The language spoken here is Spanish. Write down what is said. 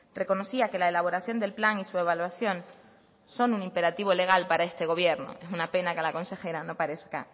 reconocía que la elaboración del plan y su evaluación son un imperativo legal para este gobierno es una pena que a la consejera no parezca